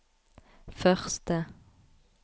første